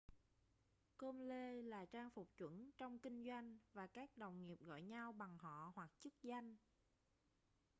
com-lê là trang phục chuẩn trong kinh doanh và các đồng nghiệp gọi nhau bằng họ hoặc chức danh